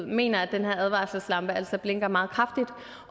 mener at den her advarselslampe altså blinker meget kraftigt